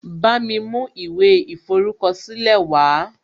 Bámi mú ìwé ìforúkọ̀sílẹ̀ wàá